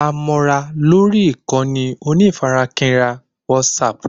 A mọ ra lórí ìkànnì onífarakínra WhatsApp